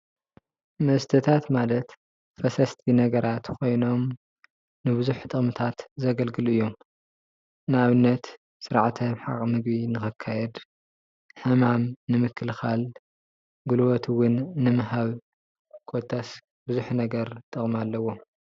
መስተታት ማለት ፈሰስቲ ነገራት ኮይኖም ንቡዙሕ ጥቅምታት ዘገልግሉ እዮም፡፡ ንኣብነት ስርዓተ ምሕቃቅ ምግቢ ንክካየድ ሕማም ንምክልካል ጉልበት እውን ንምሃብ ኮታስ በዙሕ ነገር ጥቅሚ ኣለዎም፡፡